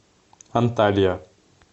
анталья